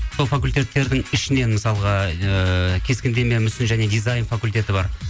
сол факультеттердің ішінен мысалға ыыы кескіндеме мүсін және дизайн факультеті бар